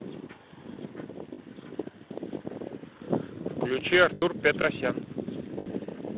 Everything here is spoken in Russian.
включи артур петросян